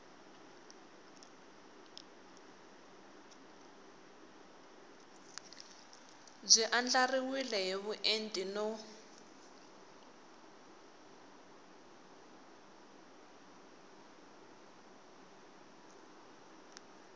byi andlariwile hi vuenti no